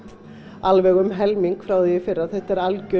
alveg um helming frá því fyrra þetta er alger